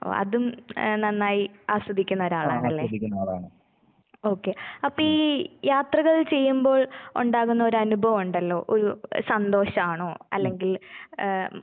ഓ അതും എഹ് നന്നായി ആസ്വദിക്കുന്ന ഒരാളാണല്ലേ? ഓക്കെ അപ്പെ ഈ യാത്രകൾ ചെയ്യുമ്പോൾ ഒണ്ടാകുന്ന ഒരു അനുഭവോണ്ടല്ലോ, ഒരു സന്തോഷാണോ അല്ലെങ്കിൽ ഏഹ്